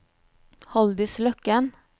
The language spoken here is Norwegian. Haldis Løken